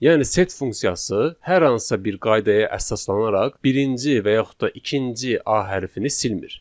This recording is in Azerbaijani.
Yəni set funksiyası hər hansısa bir qaydaya əsaslanaraq birinci və yaxud da ikinci a hərfini silmir.